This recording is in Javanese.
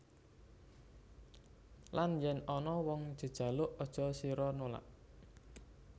Lan yen ana wong jejaluk aja sira nulak